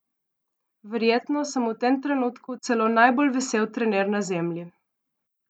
Verjetno sem v tem trenutku celo najbolj vesel trener na Zemlji!